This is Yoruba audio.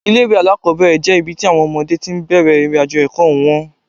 Ilé-ìwé alákọ́bẹ̀rẹ̀ jẹ́ ibi tí àwọn ọmọdé ti bẹ̀rẹ̀ ìrìnàjò ẹ̀kọ́ wọn